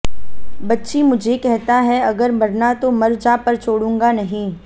बच्ची मुझे कहता है अगर मरना तो मर जा पर छोडूंगा नहीं